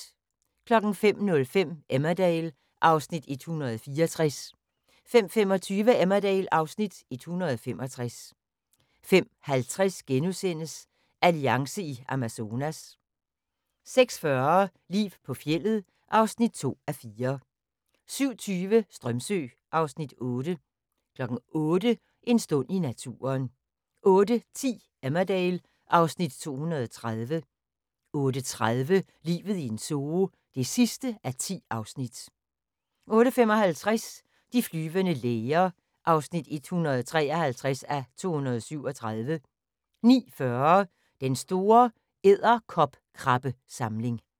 05:05: Emmerdale (Afs. 164) 05:25: Emmerdale (Afs. 165) 05:50: Alliance i Amazonas * 06:40: Liv på fjeldet (2:4) 07:20: Strömsö (Afs. 8) 08:00: En stund i naturen 08:10: Emmerdale (Afs. 230) 08:30: Livet i en zoo (10:10) 08:55: De flyvende læger (153:237) 09:40: Den store edderkopkrabbesamling